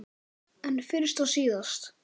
En fyrst og síðast.